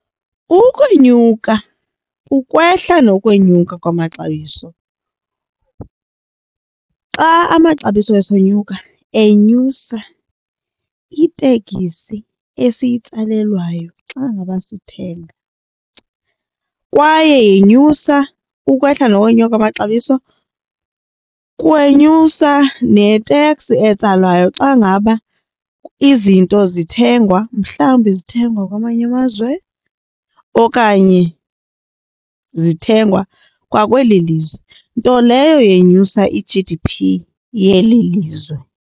Ukwenyuka ukwehla ngokwenyuka kwamaxabiso. Xa amaxabiso esonyuka enyusa itekisi esiyitsalelwayo xa ngaba sithenga kwaye yenyusa ukwehla nokonyuka kwamaxabiso kwenyuswa ne-tax etsalwayo xa ngaba izinto zithengwa mhlawumbi zithengwa kwamanye amazwe okanye zithengwa kwakweli lizwe nto leyo yenyusa i-G_D_P yeli lizwe.